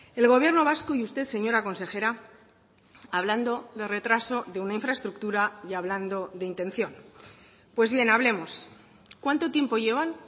el gobierno vasco y usted señora consejera hablando de retraso de una infraestructura y hablando de intención pues bien hablemos cuánto tiempo llevan